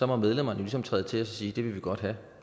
må medlemmerne ligesom træde til og sige det vil vi godt have